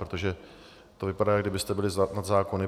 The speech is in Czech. Protože to vypadá, jak kdybyste byli nad zákony.